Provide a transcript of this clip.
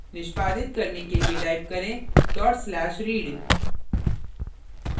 निष्पादित करने के लिए type करें/read